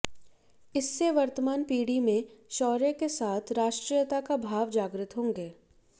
इससे वर्तमान पीढ़ी में शौर्य के साथ राष्ट्रीयता के भाव जागृत होंगे